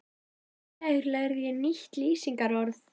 Í gær lærði ég nýtt lýsingarorð.